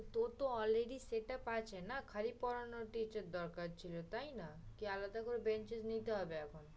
তোর তো already setup আছে না, খালি পড়ানোর teacher দরকার ছিলো তাই না, কি আলাদা করে benches নিতে হবে এখন?